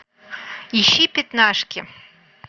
ищи пятнашки